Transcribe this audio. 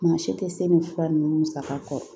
Maa si tɛ se ni fura ninnu saga kɔ